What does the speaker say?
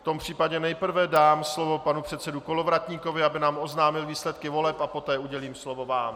V tom případě nejprve dám slovo panu předsedovi Kolovratníkovi, aby nám oznámil výsledky voleb a poté udělím slovo vám.